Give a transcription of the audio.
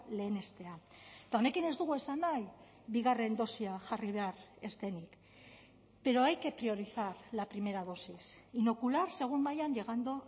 lehenestea eta honekin ez dugu esan nahi bigarren dosia jarri behar ez denik pero hay que priorizar la primera dosis inocular según vayan llegando